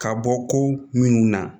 Ka bɔ ko minnu na